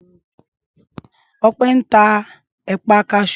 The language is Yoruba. Ọpẹ́ ń ta ẹ̀pà kasú